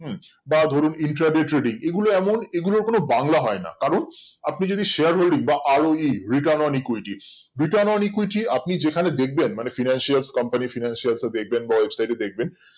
বা ধরুন intradi trading এগোলো এমন এগুলোর কোনো বাংলা হয়না কারণ আপনি যদি share holding বা আরো ই return on equityreturn on equity আপনি যেখানে দেখবেন মানে financials companyfinancials এ দেখবেন বা website এ দেখবেন